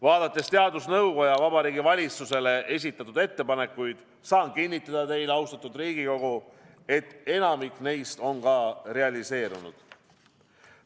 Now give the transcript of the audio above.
Vaadates teadusnõukoja Vabariigi Valitsusele esitatud ettepanekuid, saan kinnitada teile, austatud Riigikogu, et enamik neist on ka realiseerunud.